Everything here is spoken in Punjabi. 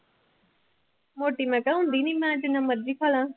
ਮੋਟੀ ਮੈਂ ਕਿਹਾ ਹੁੰਦੀ ਨੀ ਮੈਂ ਜਿੰਨਾ ਮਰਜ਼ੀ ਖਾ ਲਵਾਂ।